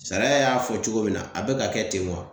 Sariya y'a fɔ cogo min na, a be ka kɛ ten wa?